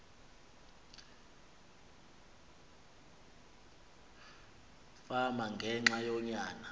fama ngenxa yonyana